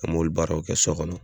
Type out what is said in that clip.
An m'olu baaraw kɛ sɔ gɔnɔ